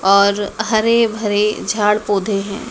और हरे भरे झाड़ पौधे हैं।